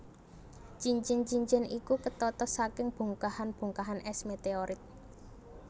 Cincin cincin iku ketata saking bongkahan bongkahan es meteorit